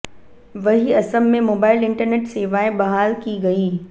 वहीं असम में mobile internet सेवाएं बहाल की गईं